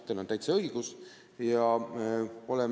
Teil on täiesti õigus!